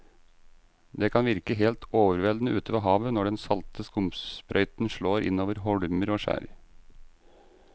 Det kan virke helt overveldende ute ved havet når den salte skumsprøyten slår innover holmer og skjær.